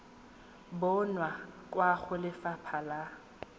bonwa kwa go lefapha la